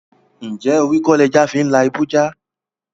Njẹ́ orí kò lè jà fí n lá ibu jà?